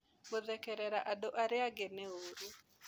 Gũthekerĩra andũ arĩa angĩ nĩ ũũru.